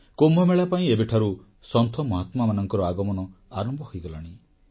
କୁମ୍ଭମେଳା ପାଇଁ ଏବେଠାରୁ ସନ୍ଥ ମହାତ୍ମାମାନଙ୍କର ଆଗମନ ଆରମ୍ଭ ହୋଇଗଲାଣି